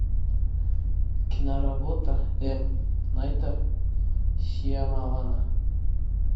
киноработа м найта шьямалана